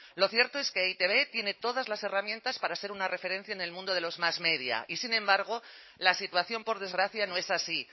lo cierto es que e i te be tiene todas las herramientas para ser una referencia en el mundo de los mas media y sin embargo la situación por desgracia no es así